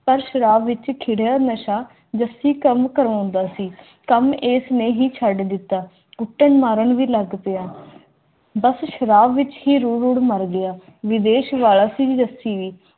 ਪਰ ਸ਼ਰਾਬ ਵਿਚ ਖਿੜਿਆ ਮੈਂ ਸਾਂ ਜੱਫੀ ਕੰਮ ਕਰਵਾਉਂਦਾ ਸੀ ਏਸ ਨੇ ਹੀ ਛੱਡ ਦਿੱਤਾ ਬੱਸ ਸ਼ਰਾਬ ਵਿਚ ਹੀ ਰੁਲ-ਰੁਲ ਮਰ ਗਿਆ ਵਿਦੇਸ਼ ਵਾਲਾ ਸਿੰਘ ਜੱਸੀ